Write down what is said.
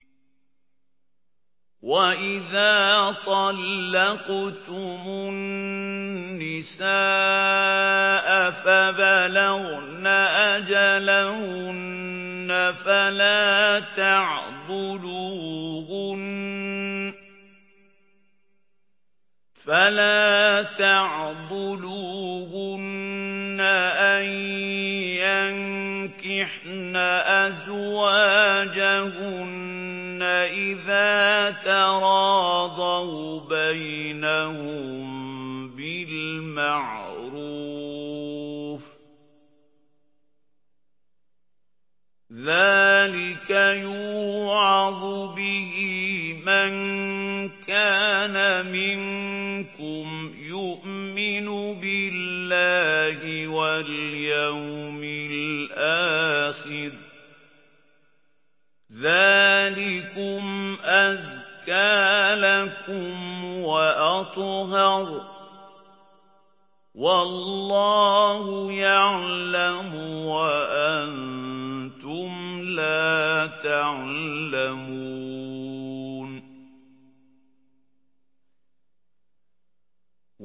وَإِذَا طَلَّقْتُمُ النِّسَاءَ فَبَلَغْنَ أَجَلَهُنَّ فَلَا تَعْضُلُوهُنَّ أَن يَنكِحْنَ أَزْوَاجَهُنَّ إِذَا تَرَاضَوْا بَيْنَهُم بِالْمَعْرُوفِ ۗ ذَٰلِكَ يُوعَظُ بِهِ مَن كَانَ مِنكُمْ يُؤْمِنُ بِاللَّهِ وَالْيَوْمِ الْآخِرِ ۗ ذَٰلِكُمْ أَزْكَىٰ لَكُمْ وَأَطْهَرُ ۗ وَاللَّهُ يَعْلَمُ وَأَنتُمْ لَا تَعْلَمُونَ